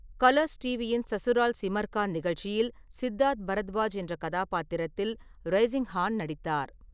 Colours டிவியின் சசுரல் சிமார் கா நிகழ்ச்சியில் சித்தார்த் பரத்வாஜ் என்ற கதாபாத்திரத்தில் ரைசிங்ஹான் நடித்தார்.